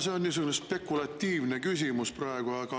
See on mul niisugune spekulatiivne küsimus.